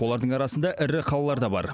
олардың арасында ірі қалалар да бар